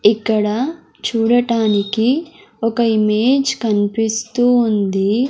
ఇక్కడ చూడటానికి ఒక ఇమేజ్ కన్పిస్తూ ఉంది.